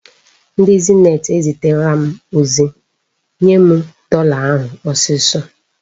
Ndị Zenit eziterela m ozi. Nye m dọla ahụ ọsịsọ!